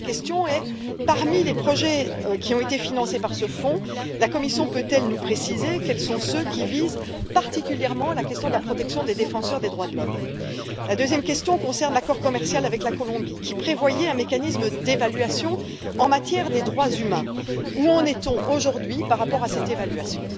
La première question est parmi les projets qui ont été financés par ce fonds, la Commission peut elle nous préciser quels sont ceux qui visent particulièrement la question de la protection des défenseurs des droits de l'homme? La deuxième question concerne l'accord commercial avec la Colombie, qui prévoyait un mécanisme d'évaluation en matière des droits humains où en est on aujourd'hui par rapport à cette évaluation?